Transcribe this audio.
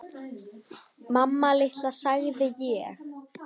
Mamma litla, sagði ég.